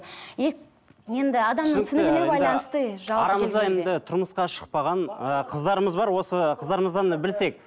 тұрмысқа шықпаған ыыы қыздарымыз бар осы қыздарымыздан білсек